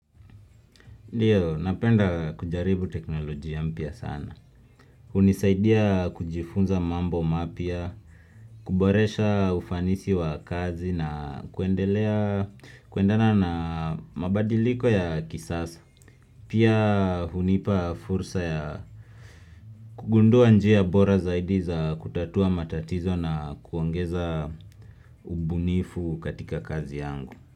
Napenda kujaribu teknolojia mpya sana. Hunisaidia kujifunza mambo mapya, kuboresha ufanisi wa kazi na kuendelea, kuendana na mabadiliko ya kisasa. Pia hunipa fursa ya kugundua njia bora zaidi za kutatua matatizo na kuongeza ubunifu katika kazi yangu.